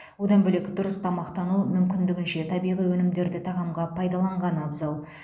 одан бөлек дұрыс тамақтану мүмкіндігінше табиғи өнімдерді тағамға пайдаланған абзал